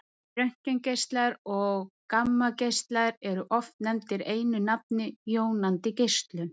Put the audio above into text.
röntgengeislar og gammageislar eru oft nefndir einu nafni jónandi geislun